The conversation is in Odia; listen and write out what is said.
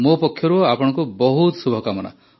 ମୋ ପକ୍ଷରୁ ଆପଣଙ୍କୁ ବହୁତ ଶୁଭକାମନା